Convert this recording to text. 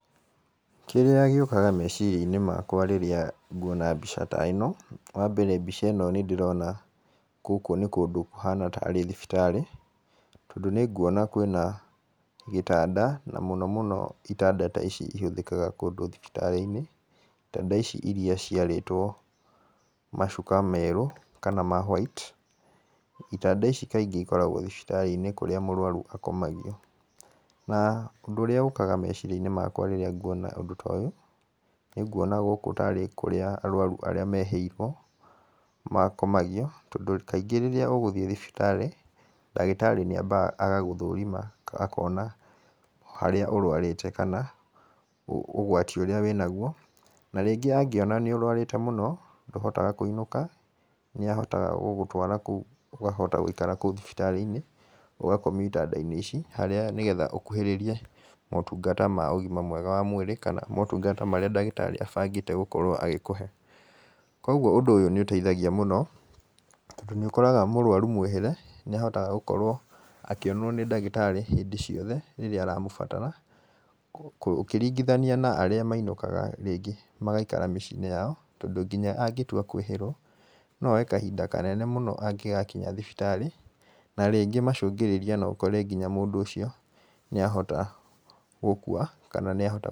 Kĩrĩa gĩũkaga meciria-inĩ makwa rĩrĩa nguona mbica ta ĩno, wa mbere mbica ĩno nĩ ndĩrona gũkũ nĩ kũndũ kũhana tarĩ thibitarĩ. Tondũ nĩ nguona kwĩna gĩtanda, na mũno mũno itanda ta ici ihũthĩkaga kũndũ ta thibitarĩ-inĩ. Itanda ici irĩa ciarĩtwo macuka merũ kana ma white, itanda ici kaingĩ ikoragwo thibitarĩ-inĩ kaingĩ ikoragwo thibitarĩ-inĩ kũrĩa mũrwaru akomagio. Na ũndũ urĩa ũkaga meciria-inĩ makwa rĩrĩa nguona ũndũ ta ũyũ, nĩ nguona gũkũ tarĩ kũrĩa arũaru arĩa mehĩrwo makomagio tondũ kaingĩ rĩrĩa ũgũthiĩ thibitarĩ, ndagĩtarĩ nĩ ambaga agagũthũrima akona harĩa ũrwarĩte kana ũgwati ũrĩa wĩnaguo. Na rĩngĩ angĩona nĩ ũrũarĩte mũno ndũhotaga kũinũka, nĩ ahotaga gũgũtwara kũu ũkahota gũikara kũu thibitarĩ-inĩ, ũgakomio itanda-inĩ ici. Harĩa nĩgetha ũkuhĩririe motunga mega ma ũgima wa mwĩrĩ kana motungata marĩa ndagĩtarĩ abangĩte gũkorwo agĩkũhe. Koguo ũndũ ũyũ nĩ ũteithagia mũno, tondũ nĩ ũkoraga mũrũaru mwĩhĩre nĩ ahotaga gukorwo akĩonwo nĩ ndagĩtarĩ hĩndĩ ciothe rĩrĩa aramũbatara. Ũkĩringithania na arĩa mainũkaga rĩngĩ magaikara mĩciĩ-inĩ yao, tondũ nginya angĩtua kwĩhĩrwo no oe kahinda kanene mũno angĩgakinya thibitarĩ. Na rĩngĩ macũngĩrĩria no ũkore nginya mũndũ ũcio nĩ ahota gũkua kana nĩ ahota gũtũũra.